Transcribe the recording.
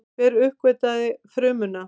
Hver uppgötvaði frumuna?